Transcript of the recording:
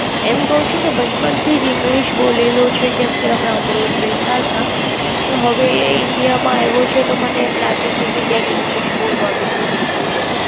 એમ કાવ છું કે બચપણ થી જ English બોલેલૂ છે કેમ કે આમે આમરોડ Rate હતા તો હવે એ India માં આવ્યો છે તો મને એમ લાગે છે ક્યાંક English બોલવાનું ભૂલી નો જાય.